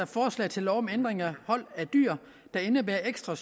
forslag til lov om ændring af hold af dyr der indebærer ekstra